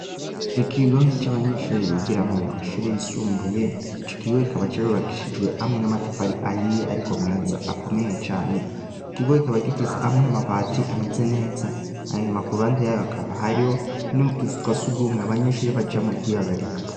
Ikigo c'abanyeshure bigiramwo mu mashure yisumbuye, ico kigo kikaba carubakishijwe amwe n'amatafari ahiye ariko meza akomeye cane. Ikigo kikaba gifise amwe amabati ameze neza. Hanyuma ku ruhande y'ayo hakaba hariho n'utuzu twa surwumwe abanyeshure bajamwo kwihagarika.